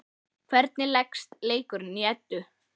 Hvernig leggst leikurinn í Eddu?